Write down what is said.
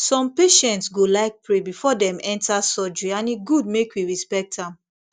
some patients go like pray before dem enter surgery and e good make we respect am